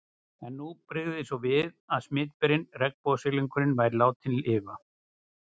En nú brygði svo við að smitberinn, regnbogasilungurinn, væri látinn lifa.